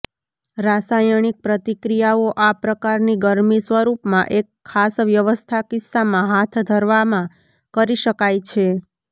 રાસાયણિક પ્રતિક્રિયાઓ આ પ્રકારની ગરમી સ્વરૂપમાં એક ખાસ વ્યવસ્થા કિસ્સામાં હાથ ધરવામાં કરી શકાય છે